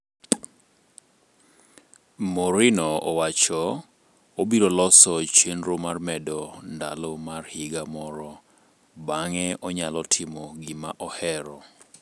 Mourinho owach: obiro loso chenro mar mede ndalo mar higa moro, bang'e onyalo timo gima ohero.